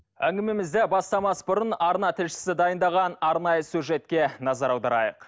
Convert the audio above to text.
әңгімемізді бастамас бұрын арна тілшісі дайындаған арнайы сюжетке назар аударайық